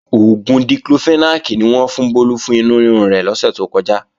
Oògùn Diclofenac ni wọ́n fún Bólú fún inú rírun rẹ̀ lọ́sè tó kọjá